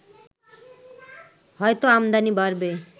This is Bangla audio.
হয়তো আমদানি বাড়বে